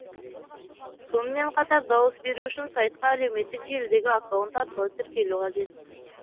сонымен қатар дауыс беру үшін сайтқа әлеуметтік желідегі аккаунт арқылы тіркелу қажет